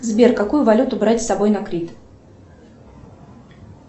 сбер какую валюту брать с собой на крит